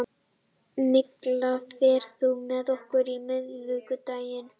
Milla, ferð þú með okkur á miðvikudaginn?